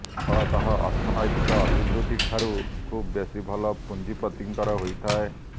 ଫଳତଃ ଅର୍ଥନୈତିକ ଅଭିବୃଦ୍ଧିଠାରୁ ଖୁବ୍ ବେଶି ଭଲ ପୁଞ୍ଜିପତିଙ୍କର ହୋଇଥାଏ